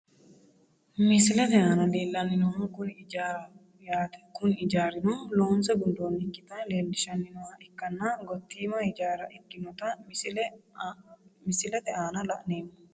Misilete aana leelani noohu kuni ijaaraho yaate kuni ijaarino loonse gundoyikita leelishani nooha ikanna gotiima ijaara ikinota misilete aana la`neemo.